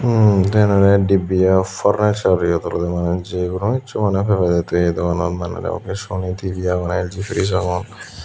mm te eyen olode divya furnlture yot olode mane jey kuno hissu pebede tui ey dogananot LG fridge aagon.